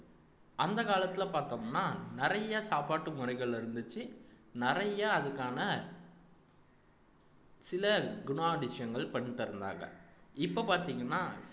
அந்த காலத்துல பாத்தோம்ன்னா நிறைய சாப்பாட்டு முறைகள் இருந்துச்சு நிறைய அதுக்கான சில குணாதிஷங்கள் பண்ணித் தந்தாங்க இப்ப பார்த்தீங்கன்னா